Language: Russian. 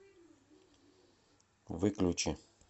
выключи